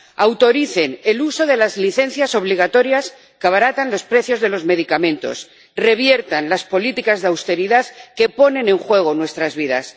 Autoricen el uso de las licencias obligatorias que abaratan los precios de los medicamentos, reviertan las políticas de austeridad que ponen en juego nuestras vidas.